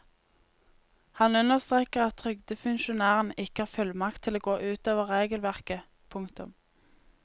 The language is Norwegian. Han understreker at trygdefunksjonærene ikke har fullmakt til å gå ut over regelverket. punktum